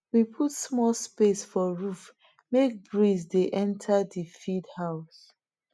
we put small space for roof make breeze de enter the feed house